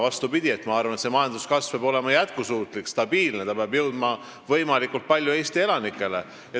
Vastupidi, ma arvan, et majanduskasv peab olema jätkusuutlik ja stabiilne ning see peab jõudma võimalikult paljude Eesti elanikeni.